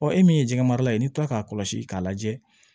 Ɔ e min ye jɛgɛ mara ye n'i kilala k'a kɔlɔsi k'a lajɛ